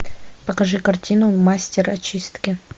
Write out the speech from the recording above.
покажи картину мастер очистки